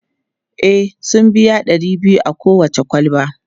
E, sun biya ɗari biyu a kowace kwalba.